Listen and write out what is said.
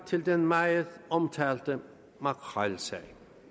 til den meget omtalte makrelsag